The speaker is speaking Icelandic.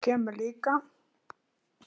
Þú kemur líka!